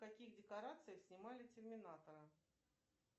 в каких декорациях снимали терминатора